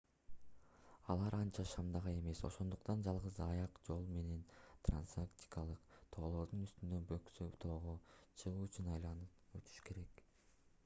алар анча шамдагай эмес ошондуктан жалгыз аяк жол менен трансантарктикалык тоолордун үстүнөн бөксө тоого чыгуу үчүн айланып өтүш керек